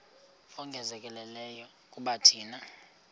ongezelelekileyo kuba thina